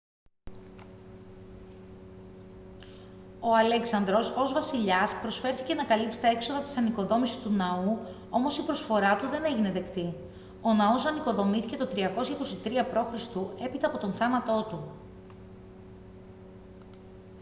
ο αλέξανδρος ως βασιλιάς προσφέρθηκε να καλύψει τα έξοδα της ανοικοδόμησης του ναού όμως η προσφορά του δεν έγινε δεκτή ο ναός ανοικοδομήθηκε το 323 π.χ. έπειτα από τον θάνατό του